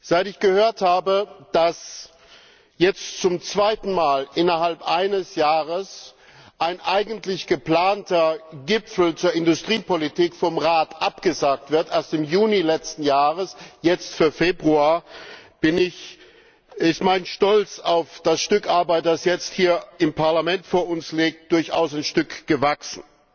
Seit ich gehört habe, dass jetzt zum zweiten Mal innerhalb eines Jahres ein eigentlich geplanter Gipfel zur Industriepolitik vom Rat abgesagt wird erst im Juni letzten Jahres, jetzt für Februar ist mein Stolz auf das Stück Arbeit, das jetzt hier im Parlament vor uns liegt, durchaus ein Stück gewachsen.